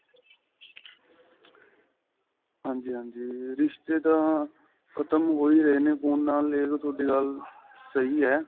ਹਾਂਜੀ ਹਾਂਜੀ ਰਿਸ਼ਤੇ ਤਾਂ ਖਤਮ ਹੋ ਹੀ ਰਹੇ ਨੇ ਹੁਣ ਆ ਲੈ ਲੋ ਤੁਹਾਡੀ ਗੱਲ ਸਹੀ ਏ